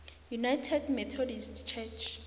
united methodist church